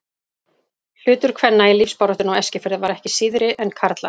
Hlutur kvenna í lífsbaráttunni á Eskifirði var ekki síðri en karla.